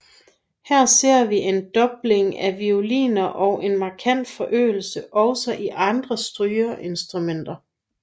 Her ser vi en dobling af violiner og en markant forøgelse også i andre strygeinstrumenter